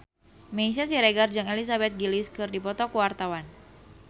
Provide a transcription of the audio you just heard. Meisya Siregar jeung Elizabeth Gillies keur dipoto ku wartawan